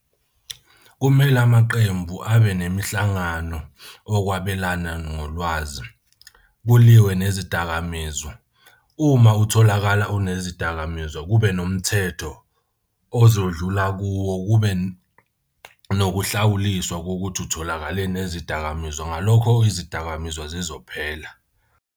Kumele amaqembu abe nemihlangano okwabelana nolwazi, kuliwe nezidakamizwa. Uma utholakala unezidakamizwa kube nomthetho ozodlula kuwo, kube nokuhlawuliswa kokuthi utholakale nezidakamizwa. Ngalokho izidakamizwa zizophela.